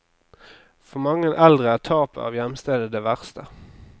For mange eldre er tapet av hjemstedet det verste.